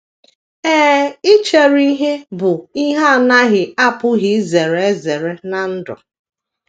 Ee, ichere ihe bụ ihe a na - apụghị izere ezere ná ndụ.